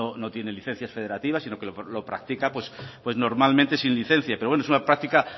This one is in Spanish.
no tiene licencias federativas sino que lo practica pues normalmente sin licencia pero bueno es una práctica